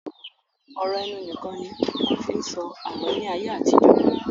Ọ̀rọ̀ ẹnu nìkan ni wọ́n fi ń sọ àlọ́ ní ayé àtijọ́